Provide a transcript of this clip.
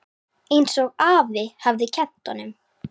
Einsog afi hafði kennt honum.